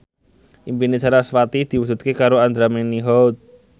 impine sarasvati diwujudke karo Andra Manihot